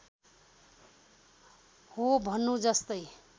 हो भन्नु जस्तै